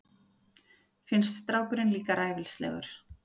Finnst strákurinn líka ræfilslegur.